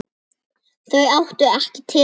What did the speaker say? Þau áttu ekki til orð.